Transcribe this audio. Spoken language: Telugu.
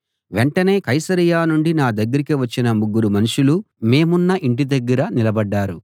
వెంటనే కైసరయ నుండి నా దగ్గరికి వచ్చిన ముగ్గురు మనుషులు మేమున్న ఇంటి దగ్గర నిలబడ్డారు